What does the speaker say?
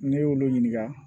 Ne y'olu ɲininka